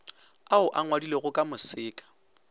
ao a ngwadilwego ka moseka